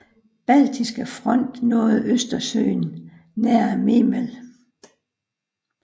Baltiske Front nåede Østersøen nær Memel